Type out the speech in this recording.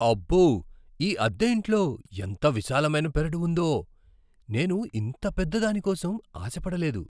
అబ్బో, ఈ అద్దె ఇంట్లో ఎంత విశాలమైన పెరడు ఉందో, నేను ఇంత పెద్ద దానికోసం ఆశ పడలేదు!